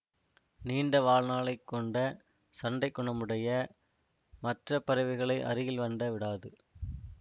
நீண்ட வாழ்நாளை கொண்ட சண்டைக்குணமுடைய மற்ற பறவைகளை அருகில் அண்ட விடாது